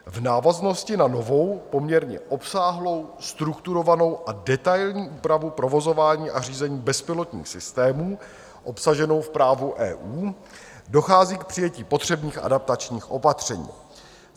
V návaznosti na novou, poměrně obsáhlou, strukturovanou a detailní úpravu provozování a řízení bezpilotních systémů obsaženou v právu EU dochází k přijetí potřebných adaptačních opatření.